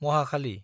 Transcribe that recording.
महाखालि